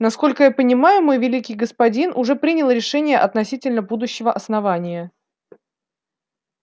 насколько я понимаю мой великий господин уже принял решение относительно будущего основания